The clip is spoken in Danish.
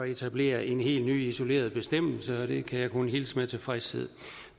etablere en helt ny isoleret bestemmelse og det kan jeg kun hilse med tilfredshed